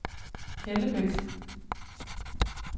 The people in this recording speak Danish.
Hellebæk